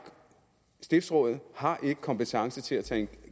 stiftsrådet har ikke kompetence til at tage en